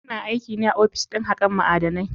Yana aikine a ofis ɗin hakan ma'adanai.